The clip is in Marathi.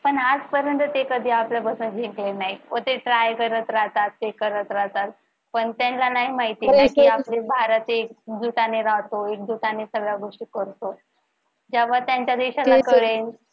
पण आजपर्यंत ते कधी आपल्यापासून जिंकले नाहीत व ते try करत राहतात हे करत राहतात. पण त्यांना नाही माहित कि आपला भारत एकजुटने राहतो. एकजुटाने सगळ्या गोष्टी करतो. तेव्हा त्यांच्या देशाला करेल.